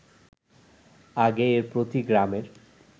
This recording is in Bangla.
আগে এর প্রতি গ্রামের